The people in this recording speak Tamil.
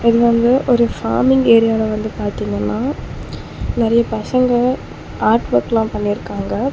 இது வந்து ஒரு ஃபார்மிங் ஏரியால வந்து பாத்தீங்கன்னா நெறைய பசங்க ஆர்ட் வொர்க்லா பண்ணிருக்காங்க.